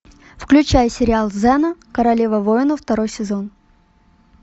включай сериал зена королева воинов второй сезон